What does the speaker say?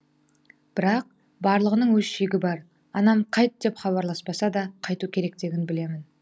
бірақ барлығының өз шегі бар анам қайт деп хабарласпаса да қайту керектігін білемін